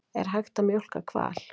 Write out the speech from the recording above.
Er hægt að mjólka hval?